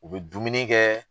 U bɛ dumuni kɛ